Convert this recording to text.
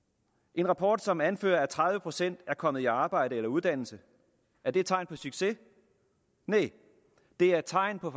en rapport som anfører at tredive procent er kommet i arbejde eller uddannelse er det tegn på succes næh det er tegn på